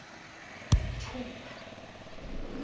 thupha